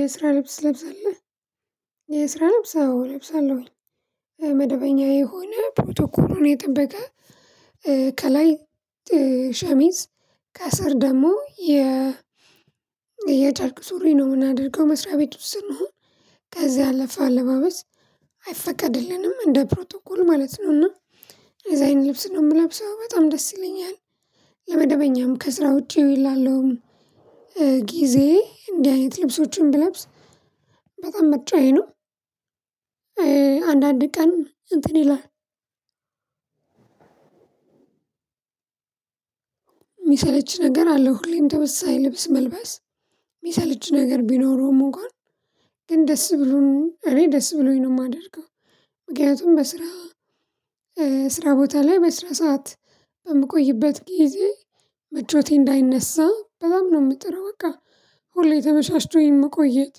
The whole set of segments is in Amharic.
የስራ ልብስ ትለብሳለሁ የስራ ልብስ አዎ እለብሳለሁኝ መደበኛ የሆነ ፕሮቶኮሉን የጠበቀ ከላይ ሸሚዝ ከስር ደግሞ የ የጨርቅ ሱሪ ነው የምናደርገው መስሪያ ቤት ውስጥ ስንሆን ከዛ ያለፈ አለባበስ አይፈቀድልንም እንደ ፕሮቶኮል ማለት ነውና እንደዛ አይነት ልብስ ነው የምለብሰው በጣም ደስ ይለኛል። ለመደበኛም ከስራ ውጪ ላለውም ጊዜ እንዲህ አይነት ልብሶችን ብለብስ በጣም መርጫየ ነው። አንዳንድ ቀን እንትን ይላል። የሚሰለች ነገር አለው ሁሌም ተመሳሳይ ልብስ መልበስ የሚሰለች ነገር ቢኖረውም እንኳን ግን ደስ ብሎን እኔ ደስ ብሎኝ ነው የማደርገው። ምክንያቱም በስራ ስራ ቦታ ላይ በስራ ሰዓት በምቆይበት ጊዜ ምቾቴ እንዳይነሳ በጣም ነው የምጥረው በቃ ሁሌ ተመቻችቶኝ መቆየት።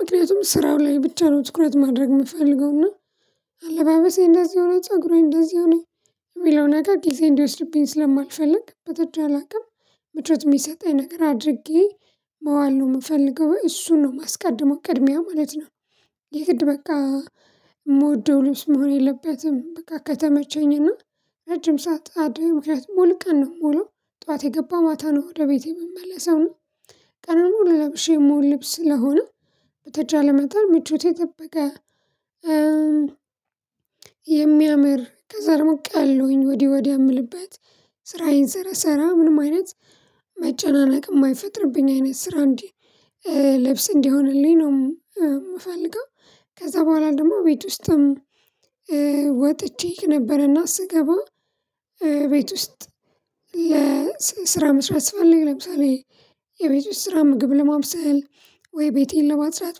ምክንያቱም ስራው ላይ ብቻ ነው ትኩረት ማድረግ የምፈልገውና አለባበሴ እንደዚህ ሆነ ፀጉሩ እንደዚህ ሆነ የሚለው ነገር ጊዜ እንዲወስድብኝ ስለማልፈልግ በተቻለ አቅም ምቾት የሚሰጠኝ ነገር አድርጌ መዋል ነው የምፈልገው እሱን ነው ማስቀደሙው ቅድሚያ ማለት ነው። የግድ በቃ የምወደው ልብስ መሆን የለበትም በቃ ከተመቸኝ እና ረጅም ሰዓት አዲስ ሙሉ ቀን ነው የምውለው ጠዋት የገባሁ ማታ ነው ወደ ቤቴ የምመለሰው እና ቀኑን ሙሉ ለብሼ ምውል ልብስ ስለሆነ በተቻለ መጠን ምቾቱን የጠበቀ። የሚያምር ከዛ ደግሞ ቀሎኝ ወዲህ ወዲያ የምልበት ስራዬን ስረሰራ ምንም አይነት መጨናነቅ የማይፈጥርብኝ አይነት ስራ እንጂ ልብስ እንዲሆንልኝ ነው የምፈልገው። ከዛ በኋላ ደግሞ ቤት ውስጥም ወጥቼ ነበርና ስገባ ቤት ውስጥ ለስራ መስራት ስፈልግ ለምሳሌ የቤት ውስጥ ስራ ምግብ ለማብሰል ወይ ቤቴን ለማጽዳት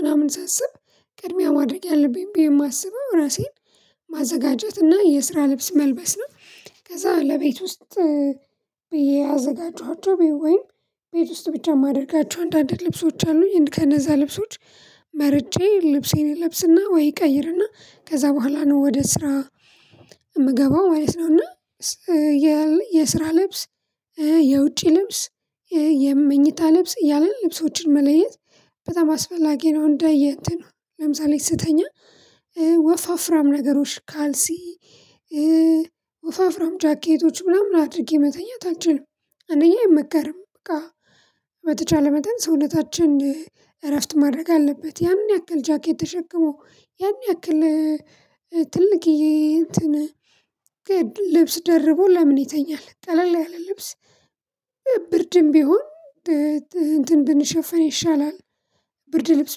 ምናምን ሳስብ ቅድሚያ ማድረግ ያለብኝ ብዬ የማስበው ራሴን ማዘጋጀት እና የስራ ልብስ መልበስ ነው ከዛ ለቤት ውስጥ ብዬ ያዘጋጀኋቸው ቤት ወይም ቤት ውስጥ ብቻ የማደርጋቸው አንዳንድ ልብሶች አሉኝ ከነዛ ልብሶች መርጬ ልብሴን እለብስና ወይ እቀይርና ከዛ በኋላ ነው ወደ ስራ የምገባው ማለት ነው። እና የስራ ልብስ የውጪ ልብስ የመኝታ ልብስ እያልን ልብሶችን መለየት በጣም አስፈላጊ ነው። እንደየ እንትን ለምሳሌ ስተኛ ወፋፍራም ነገሮች ካልሲ ወፋፍራም ጃኬቶች ምናምን አድርጌ መተኛት አንችልም። አንደኛ አይመከርም በቃ በተቻለ መጠን ሰውነታችን እረፍት ማድረግ አለበት ያን ያክል ጃኬት ተሸክሞ ያን ያክል ትልቅዬ እንትን ልብስ ደርቦ ለምን ይተኛል ቀለል ያለ ልብስ ብርድም ቢሆን እንትን ብንሸፈን ይሻላል። ብርድ ልብስ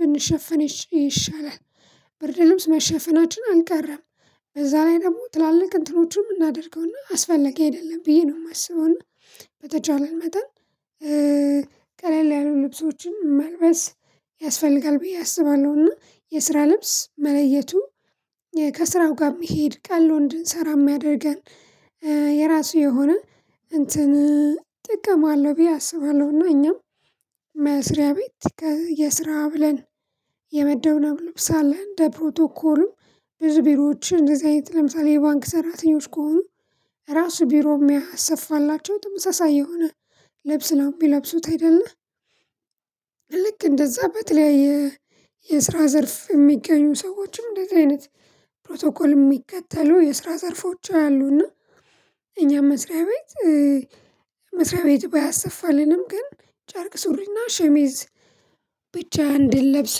ብንሸፈን ይሻላል። ብርድ ልብስ መሸፈናችን አልቀረም። በዛ ላይ ደግሞ ትላልቅ እንትኖችን የምናደርገውና አስፈላጊ አይደለም ብዬ ነው የማስበውና። በተቻለን መጠን ቀለል ያሉ ልብሶችን መልበስ ያስፈልጋል ብዬ አስባለሁና የስራ ልብስ መለየቱ ከስራው ጋር የሚሄድ ቀሎ እንድንሰራ የሚያደርገን የራሱ የሆነ እንትን ጥቅም አለው ብዬ አስባለሁ። እና እኛም መስሪያ ቤት የስራ ብለን የመደብነብ ልብስ አለን እንደ ፕሮቶኮሉ ብዙ ቢሮዎች እንደዚህ አይነት ለምሳሌ የባንክ ሰራተኞች ከሆኑ ራሱ ቢሮ የሚያሰፋላቸው ተመሳሳይ የሆነ ልብስ ነው የሚለብሱት አይደለ ልክ እንደዛ በተለያየ የስራ ዘርፍ የሚገኙ ሰዎችም እንደዚህ አይነት ፕሮቶኮል የሚከተሉ የስራ ዘርፎች አሉና እኛ መስሪያ ቤት መስሪያ ቤቱ ባያሰፋልንም ግን ጨርቅ ሱሪና ሸሚዝ ብቻ እንድንለብስ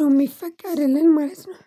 ነው የሚፈቅድልን ማለት ነው።